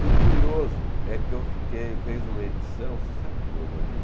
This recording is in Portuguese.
E o curioso é que eu fiquei fez uma edição, você sabe como eu vendi?